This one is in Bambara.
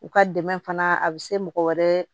U ka dɛmɛ fana a bɛ se mɔgɔ wɛrɛ